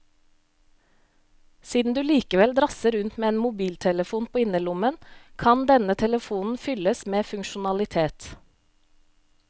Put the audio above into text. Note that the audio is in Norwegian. Siden du likevel drasser rundt med en mobiltelefon på innerlommen, kan denne telefonen fylles med funksjonalitet.